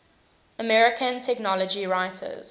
american technology writers